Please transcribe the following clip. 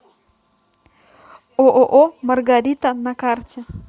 ооо маргарита на карте